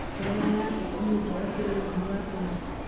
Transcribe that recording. Mborera ya ngũkũ nĩ njega kũrĩ ũrĩmi wa mboga.